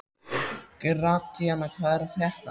Gratíana, hvað er að frétta?